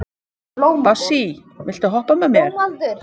Bassí, viltu hoppa með mér?